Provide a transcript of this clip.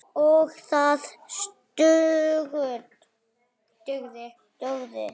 OG ÞAÐ DUGÐI.